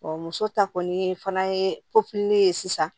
muso ta kɔni fana ye ye sisan